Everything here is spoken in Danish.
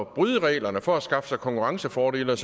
bryde reglerne for at skaffe sig konkurrencefordele